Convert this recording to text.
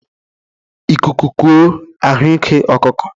Ịkuku kọọ, ahụ ike ọkụkọ